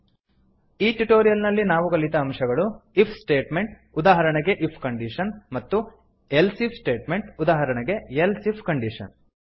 ಈ ಟ್ಯುಟೋರಿಯಲ್ ನಲ್ಲಿ ನಾವು ಕಲಿತ ಅಂಶಗಳು160 ಇಫ್ ಸ್ಟೇಟ್ಮೆಂಟ್ ಉದಾಹರಣೆಗೆ ಇಫ್ ಕಂಡೀಶನ್ ಮತ್ತು ಎಲ್ಸಿಫ್ ಸ್ಟೇಟ್ಮೆಂಟ್ ಉದಾಹರಣೆಗೆ ಎಲ್ಸ್ ಇಫ್ ಕಂಡೀಶನ್